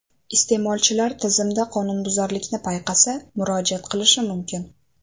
Iste’molchilar tizimda qonunbuzarlikni payqasa, murojaat qilishi mumkin.